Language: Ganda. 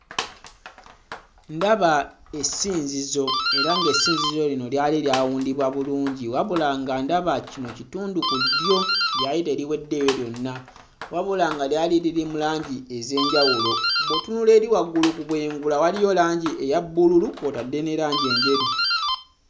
Ndaba essinzizo era ng'essinzizo lino lyali lyawundibwa bulungi. Wabula, nga ndaba kino kitundu ku ddyo lyali teriweddeeyo lyonna wabula nga lyali liri mu langi ez'enjawulo bw'otunula eri ku bwengula waliyo langi eya bbululu kw'otadde ne langi enjeru.